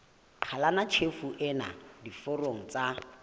qhalanya tjhefo ena diforong tsa